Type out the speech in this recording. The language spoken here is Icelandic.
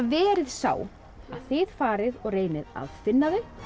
verið sá að þið farið og reynið að finna þau